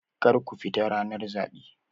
Kar ku fita ranar zaɓe!